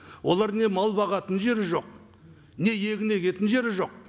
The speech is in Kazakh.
олар не мал бағатын жері жоқ не егін егетін жері жоқ